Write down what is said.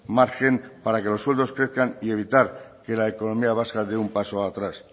margen para que los sueldos crezcan y evitar que la economía vasca de un paso atrás